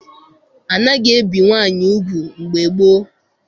Anaghị ebi nwaanyị ugwu mgbe gboo.